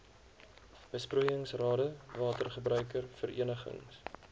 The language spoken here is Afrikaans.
besproeiingsrade watergebruiker verenigings